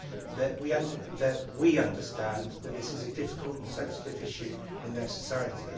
that we understand that this is a difficult and sensitive issue in their society.